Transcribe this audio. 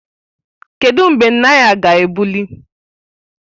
Kedụ mgbe naira ga-ebuli?